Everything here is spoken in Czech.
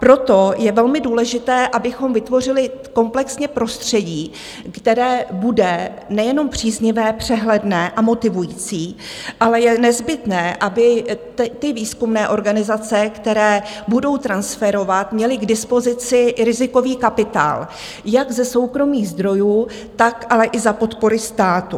Proto je velmi důležité, abychom vytvořili komplexně prostředí, které bude nejenom příznivé, přehledné a motivující, ale je nezbytné, aby ty výzkumné organizace, které budou transferovat, měly k dispozici i rizikový kapitál jak ze soukromých zdrojů, tak ale i za podpory státu.